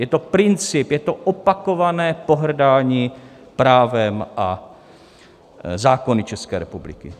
Je to princip, je to opakované pohrdání právem a zákony České republiky.